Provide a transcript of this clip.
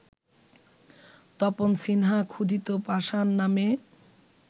তপন সিনহা ‘ক্ষুধিত পাষাণ’ নামে